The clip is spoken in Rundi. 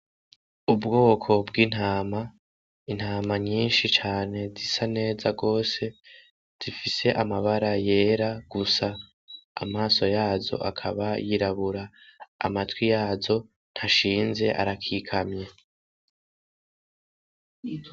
Ubwoko bw'intama, intama nyinshi cane zisa neza gose, zifise amabara yera gusa amaso yazo akaba y'irabura, amatwi yazo ntashinze arakikamye.